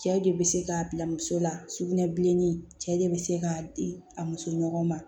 Cɛ de bɛ se k'a bila muso la sugunɛ bilenni cɛ bɛ se k'a di a muso ɲɔgɔn ma